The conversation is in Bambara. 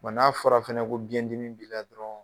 Wa n'a fɔra fɛnɛ ko biɲɛ dimi b'i la dɔrɔn.